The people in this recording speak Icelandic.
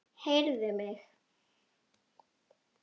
Heyrðu mig.